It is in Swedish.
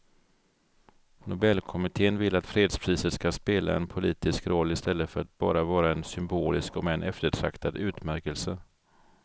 Nobelkommittén vill att fredspriset ska spela en politisk roll i stället för att bara vara en symbolisk om än eftertraktad utmärkelse.